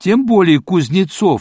тем более кузнецов